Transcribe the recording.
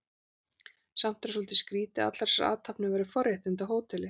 Samt er það svolítið skrýtið að allar þessar athafnir væru forréttindi á hóteli.